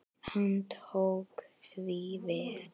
Hann tók því vel.